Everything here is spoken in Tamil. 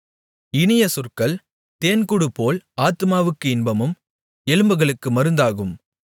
இனிய சொற்கள் தேன்கூடுபோல் ஆத்துமாவுக்கு இன்பமும் எலும்புகளுக்கு மருந்தாகும்